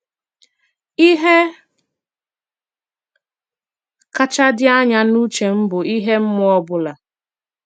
Ìhè kàchá dị anya n’ùchè m bụ ihe mmụọ ọ̀ bụ̀la.